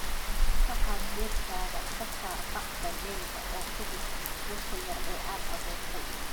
"Ka qaad geedkaaga, ka saar bacda dheriga oo ku rid godka yar ee aad abuurtay."